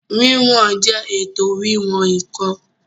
Wíwọn jẹ́ ètò wíwọ̀n ǹkan